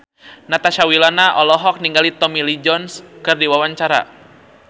Natasha Wilona olohok ningali Tommy Lee Jones keur diwawancara